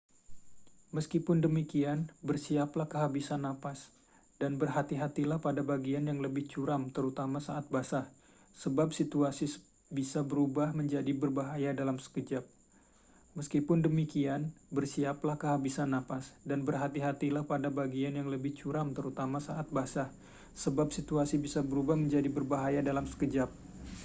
meskipun demikian bersiaplah kehabisan napas dan berhati-hatilah pada bagian yang lebih curam terutama saat basah sebab situasi bisa berubah menjadi berbahaya dalam sekejap